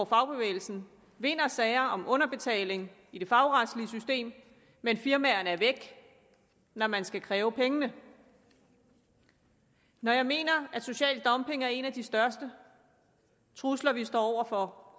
fagbevægelsen vinder sager om underbetaling i det fagretslige system men firmaerne er væk når man skal kræve pengene når jeg mener at social dumping er en af de største trusler vi står over for